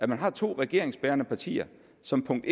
man har to regeringsbærende partier som punkt